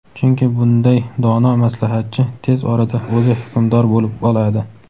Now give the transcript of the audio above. chunki bunday dono maslahatchi tez orada o‘zi hukmdor bo‘lib oladi.